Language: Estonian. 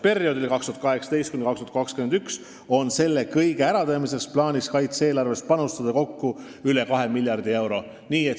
Perioodil 2018–2021 on plaanis selle kõige tegemiseks panustada kaitse-eelarves kokku üle kahe miljardi euro.